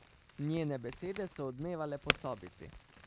Njene besede so odmevale po sobici.